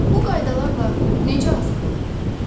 Bu qaydalarla necə azad ola bilərik?